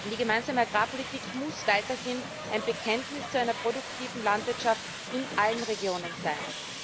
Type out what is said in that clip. Die Gemeinsame Agrarpolitik muss weiterhin ein Bekenntnis zu einer produktiven Landwirtschaft in allen Regionen sein.